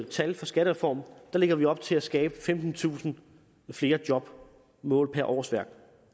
tal i skattereformen lægger vi op til at skabe femtentusind flere job målt i årsværk